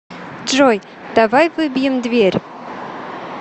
джой давай выбьем дверь